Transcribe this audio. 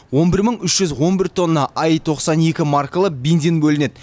он бір мың үш жүз он бір тонна аи тоқсан екі маркалы бензин бөлінеді